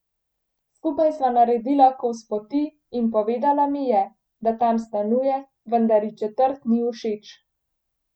Skupaj sva naredila kos poti in povedala mi je, da tam stanuje, vendar ji četrt ni všeč.